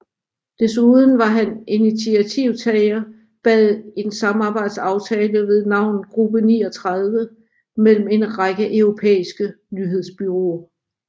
Desuden var han initiativtageren bag en samarbejdsaftale ved navn Gruppe 39 mellem en række europæiske nyhedsbureauer